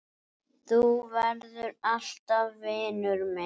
Þú verður alltaf vinur minn.